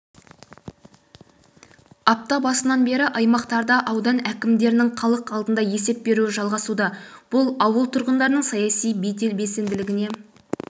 апта басынан бері аймақтарда аудан әкімдерінің халық алдында есеп беруі жалғасуда бұл ауыл тұрғындарының саяси белсенділігі